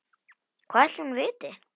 Hvað ætli hún viti?